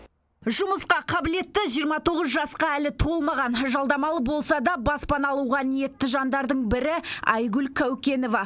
жұмысқа қабілетті жиырма тоғыз жасқа әлі толмаған жалдамалы болса да баспана алуға ниетті жандардың бірі айгүл кәукенова